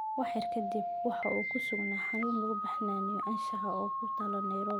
Wax yar ka dib, waxa uu ku sugnaa xarun lagu baxnaaniyo anshaxaa oo ku taal Nairobi.